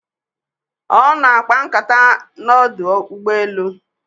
Ono akapa nkata na ọdụ ụgbọ elu